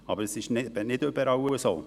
Aber es ist nicht überall so.